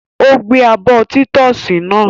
Ó gbé abọ́ títọ́sì náà?